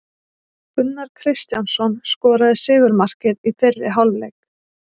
Gunnar Kristjánsson skoraði sigurmarkið í fyrri hálfleik.